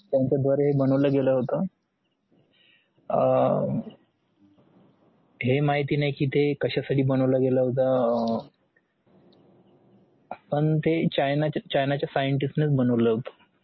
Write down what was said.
त्यांचा द्वारे बनवला घेला होता अह हे माहीत नाही कि तेकशासाठी बनवलं गेल होत पण ते चाइनाचा चाइनाचा scientist नेच बनवलं होता